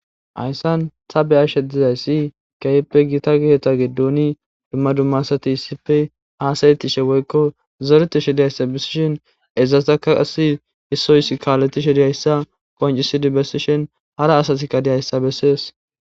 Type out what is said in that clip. Haysan ta be'ashe dizaysi keehipe gita keetha gidon duma duma asati issipe haasa'ishe woyko zoretishe dizaysa besishin izetaka kase issi adde kaaletishe dizaysa qoncisidi besishin hara asay dizaysaka beses.